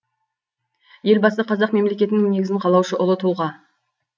елбасы қазақ мемлекетінің негізін қалаушы ұлы тұлға